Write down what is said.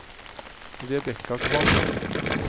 Rebecca Kvamme